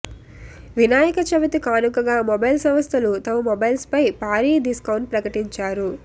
వినాయకచవితి కానుకగా మొబైల్ సంస్థలు తమ మొబైల్స్ ఫై భారీ డిస్కౌంట్ ప్రకటించారు